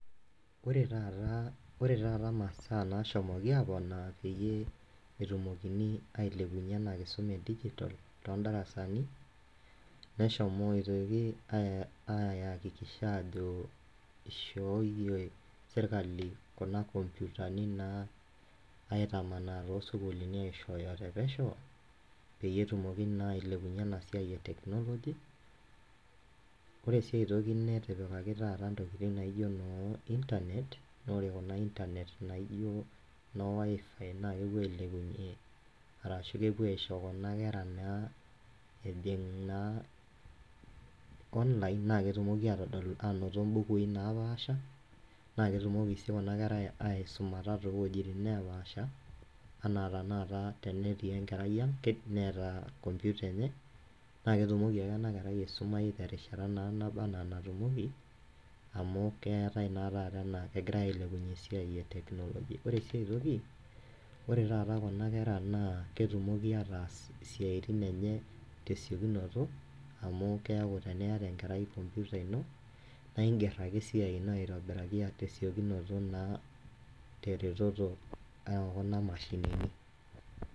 Ore taata masaa naasomoki aponaa peyie etumokini aileounye ena nkisuma edigitol too indarasani, neshomoitoki aayakikisha aajo eishooiye sirkali kuna nkopyutani naa aitamanaa too sukuulini aishooyo te pesheu peyie etumoki naa eilepunye ena siai e technology. Ore sii aitoki taata netipikaki taata ntokitin naijo noo internet. naa ore kuna noo internet naijo no wifi naa kepo ailepunye arashu kepuo aisho kuna kera naa ejing' naa online naa ketumoki aatodol aanoto imbukui napaasha, naa ketumoki sii kuna kera aisumata too wejitin napasha, anaa taata tenetii enkerai aang' neata nkomputa enye naa ketumoki ake ana kerai aisumai te rishata naa naba ana natumoki amu keatai naa taata ana egirai ailepunye esiai e technology, ore sii aitoki, ore taata kuna kera naa ketumoki ataas siatin enye te siekunoto amuu keaku teneeta enkerai nkomputa ino naa ing'er ake esiai ino aitobiraki, aa te siekunoto naa, te ereteto oo kuna mashinini.